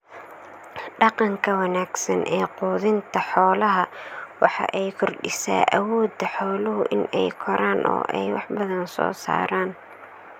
Dhaqanka wanaagsan ee quudinta xoolaha waxa ay kordhisaa awooda xooluhu in ay koraan oo ay wax badan soo saaraan.